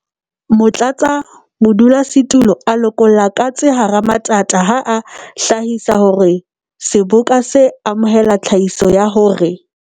Motlatsa-modulasetulo a lokolla katse hara matata ha a hlahisa hore Seboka se amohela tlhahiso ya hore.